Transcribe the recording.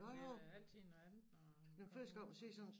Nej det er da altid noget andet når man kommer udenfor